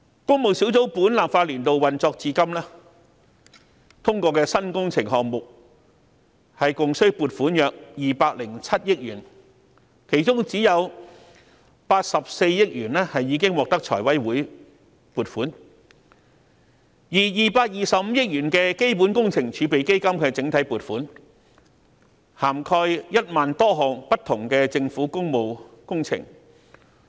工務小組委員會自本立法年度運作至今，通過的新工程項目共須撥款約207億元，其中只有84億元獲得財委會撥款，而225億元的基本工程儲備基金的整體撥款，涵蓋1萬多項不同的政府工務工程。